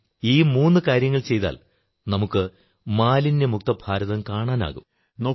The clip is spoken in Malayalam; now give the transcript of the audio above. നാം ഈ മൂന്നു കാര്യങ്ങൾ ചെയ്താൽ നമുക്ക് മാലിന്യമുക്തഭാരതം കാണാനാകും